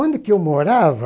Onde que eu morava,